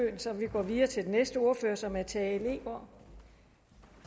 så vi går videre til den næste ordfører som er herre tage leegaard